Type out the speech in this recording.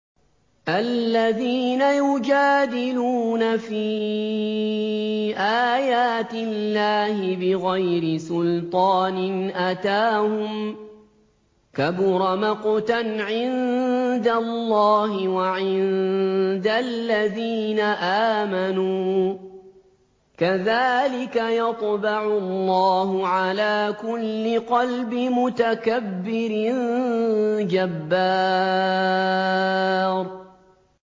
الَّذِينَ يُجَادِلُونَ فِي آيَاتِ اللَّهِ بِغَيْرِ سُلْطَانٍ أَتَاهُمْ ۖ كَبُرَ مَقْتًا عِندَ اللَّهِ وَعِندَ الَّذِينَ آمَنُوا ۚ كَذَٰلِكَ يَطْبَعُ اللَّهُ عَلَىٰ كُلِّ قَلْبِ مُتَكَبِّرٍ جَبَّارٍ